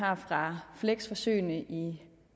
har fra fleksforsøgene i